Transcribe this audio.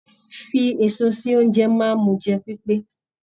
Fífi èso sí ounjẹ máa n mú jẹ pipe.